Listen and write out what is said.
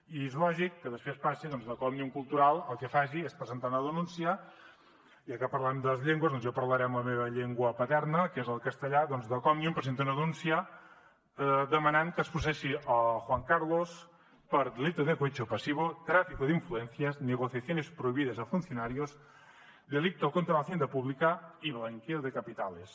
i és lògic que després passi doncs que òmnium cultural el que faci és presentar una denúncia ja que parlàvem de les llengües doncs jo parlaré en la meva llengua paterna que és el castellà doncs que òmnium presenta una denúncia demanant que es processi juan carlos per delito de cohecho pasivo tráfico de influencias negociaciones prohibidas a funcionarios delito contra la hacienda pública y blanqueo de capitales